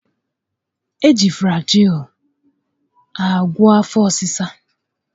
E ji Flajịịlụ agwo afọ ọsịsa